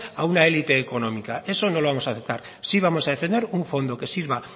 a una élite económica eso no lo vamos a aceptar sí vamos a defender un fondo que sirva